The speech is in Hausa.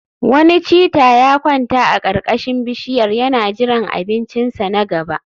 Wani cheetah ya kwanta a karkashin bishiyar yana jiran abincinsa na gaba